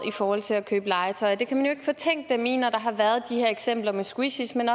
i forhold til at købe legetøj det kan man jo ikke fortænke dem i når der har været de her eksempler med squishies men